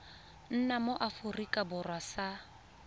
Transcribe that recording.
nna mo aforika borwa sa